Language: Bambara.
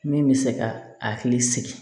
Min bɛ se ka hakili sigi